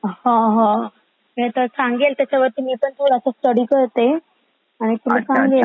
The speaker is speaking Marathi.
हं हं ह इ सांगेल आता त्यावर मी थोडी स्टडी करते आणि सांगेल मग.